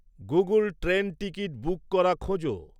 Google train ticket book করা খোঁজো